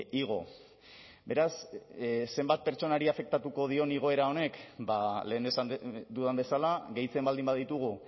igo beraz zenbat pertsonari afektatuko dion igoera honek ba lehen esan dudan bezala gehitzen baldin baditugu